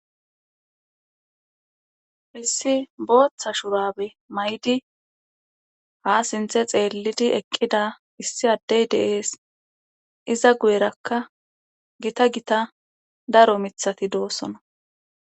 Issi booththa shurabe may'di ha sinthe xeellidi eqqida issi addey deees iza guyerakka gita gita daro mithati doosona.